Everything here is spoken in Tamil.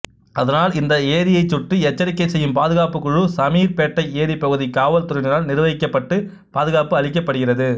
அதனால் இந்த ஏரியைச் சுற்றி எச்சரிக்கை செய்யும் பாதுகாப்புக்குழு சமீர்பேட்டை ஏரி பகுதி காவல்துறையினரால் நிர்வகிக்கப்பட்டு பாதுகாப்பு அளிக்கப்படுகிறது